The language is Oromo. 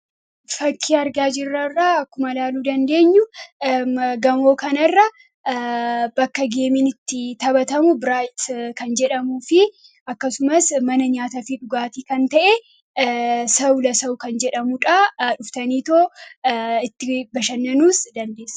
fakkii argaa jirrarra akkuma laaluu dandeenyu gamoo kana irra bakka geemiinitti taphatamu biraayt kan jedhamu fi akkasumas mana nyaata fi dhugaatii kan ta'e sawla sa'u kan jedhamuudhaa dhuftaniitoo itti bashannanuus dandeessa